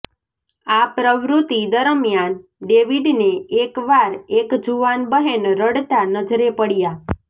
આ પ્રવૃત્તિ દરમિયાન ડેવિડને એક વાર એક જુવાન બહેન રડતાં નજરે પડયાં